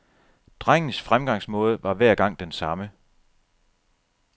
Drengens fremgangsmåde var hver gang den samme.